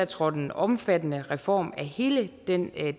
trådte en omfattende reform af hele den